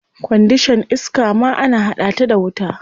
Kwandishan iska ma ana hada ta da wuta.